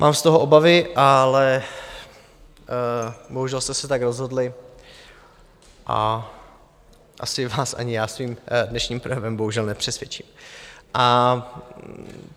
Mám z toho obavy, ale bohužel jste se tak rozhodli a asi vás ani já svým dnešním projevem bohužel nepřesvědčím.